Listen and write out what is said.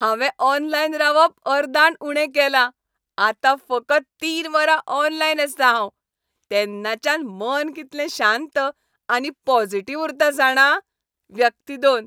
हांवें ऑनलायन रावप अर्दान उणें केलां, आतां फकत तीन वरां ऑनलायन आसतां हांव, तेन्नाच्यान मन कितलें शांत आनी पॉजिटिव्ह उरता जाणा. व्यक्ती दोन